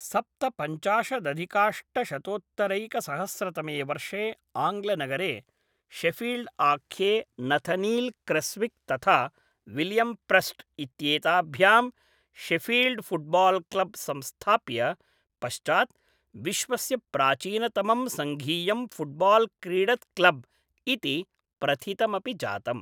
सप्तपञ्चाशदधिकाष्टशतोत्तरैकसहस्रतमे वर्षे आङ्ग्लनगरे शेफील्ड्आख्ये नथनील् क्रेस्विक् तथा विलियम् प्रेस्ट् इत्येताभ्यां शेफील्ड् फुट्बाल् क्लब् संस्थाप्य, पश्चात् विश्वस्य प्राचीनतमं सङ्घीयं फुट्बाल् क्रीडत् क्लब् इति प्रथितमपि जातम्।